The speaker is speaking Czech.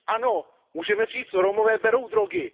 Ano, můžeme říci, že Romové berou drogy.